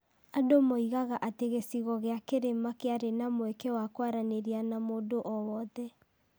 andũ moigaga atĩ gĩcigo gĩa kĩrĩma kĩarĩ na mweke wa kwaranĩria na mũndũ o wothe.